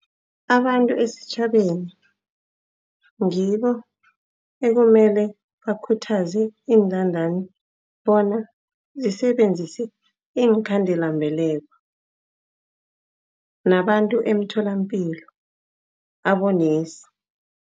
Abantu esitjhabeni ngibo ekumele bakhuthaze iintandani bona zisebenzise iinkhandelambeleko, nabantu emtholapilo, abonesi.